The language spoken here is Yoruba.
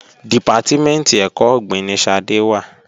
Dìpátímẹ̀ntì ẹ̀kọ́ ọ̀gbìn ni Ṣadé wà